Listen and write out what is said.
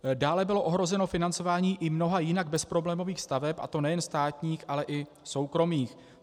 Dále bylo ohroženo financování i mnoha jinak bezproblémových staveb, a to nejen státních, ale i soukromých.